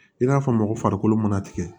I n'a fɔ mɔgɔ farikolo mana tigɛ